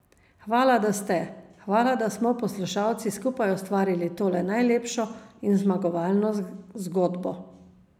Hvala, da ste, hvala, da smo poslušalci skupaj ustvarili tole najlepšo in zmagovalno zgodbo.